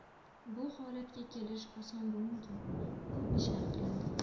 Bu holatga kelish oson bo‘lmagan, ko‘p ishlar qilindi.